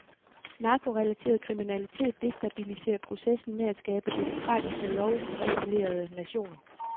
Narkorelateret kriminalitet destabiliserer processen med at skabe demokratiske, lovregerede nationer.